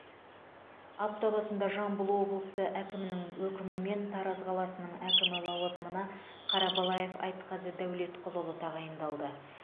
апта басында жамбыл облысы әкімінің өкімімен тараз қаласының әкімі лауазымына қарабалаев айтқазы дәулетқұлұлы тағайындалды